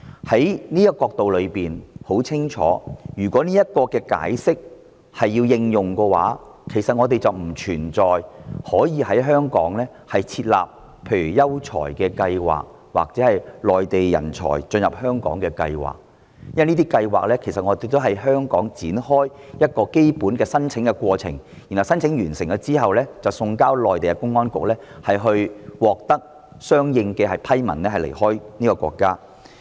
從這個角度看來，有一點很清楚，就是如果按照這個解釋，我們便不可以在香港設立各項人才入境計劃，因為這些計劃的基本申請過程均是在香港展開，相關申請過程完成後，有關資料便會送交內地公安局，當申請人獲得相應批文後，便可離開內地。